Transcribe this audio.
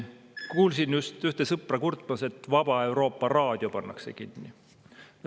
Kuulsin just ühte sõpra kurtmas, et Vaba Euroopa raadio pannakse kinni.